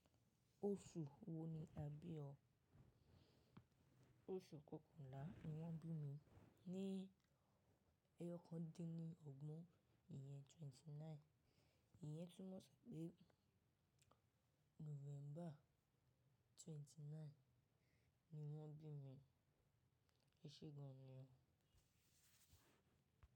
Oṣù wo ni a bí ọ? Oṣù kọkànlá ni wọ́n bí mi, ní ẹyọkan dín ní ọgbọ̀n, ìyẹn twenty nine. Ìyẹn túmọ̀ sí pé November twenty nine ni wọ́n bí mi. E ṣe gan ni o.